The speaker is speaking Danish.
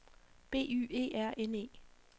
B Y E R N E